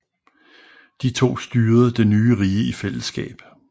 De to styrede det nye rige i fællesskab